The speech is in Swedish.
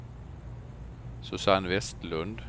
Susanne Westlund